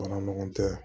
Baara ɲɔgɔn tɛ